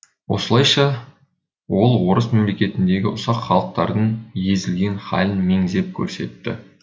осылайша ол орыс мемлекетіндегі ұсақ халықтардың езілген халін меңзеп көрсетеді